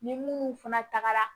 Ni munnu fana tagara